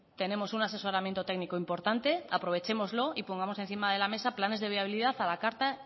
tenemos un asesoramiento técnico importante aprovéchenoslo y pongamos encima de la mesa planes de viabilidad a la carta